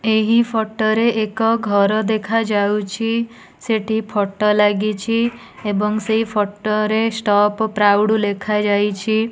ଏହି ଫଟୋ ରେ ଏକ ଘର ଦେଖାଯାଉଛି ସେଠି ଫଟୋ ଲାଗିଛି ଏବଂ ସେହି ଫଟୋ ରେ ଷ୍ଟପ ପ୍ରାଉଡ ଲେଖାଯାଇଛି।